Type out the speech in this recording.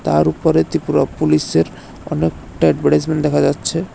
তার উপরে ত্রিপুরা পুলিশের অনেকটা এডভারটাইজমেন্ট দেখা যাচ্ছে।